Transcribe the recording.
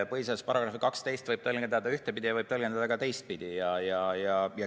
Põhiseaduse § 12 võib tõlgendada ühtepidi ja võib tõlgendada ka teistpidi.